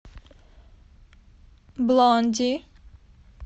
блонди